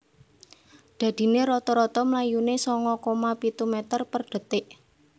Dadinè rata – rata mlayunè sanga koma pitu meter per detik